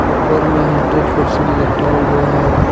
ऊपर में hundred percent लिखा हुआ है।